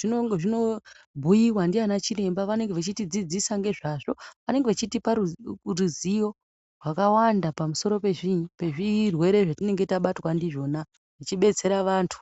zvinobhuiva ndiana chiremba vanenge vachitidzidzisa ngezvazvo. Vanenge vachitipa ruzivo rwakawanda pamusoro pezvinyi pezvirwere zvetinenge tabatwa ndizvona vechibetsera vantu.